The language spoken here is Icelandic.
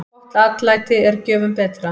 Gott atlæti er gjöfum betra.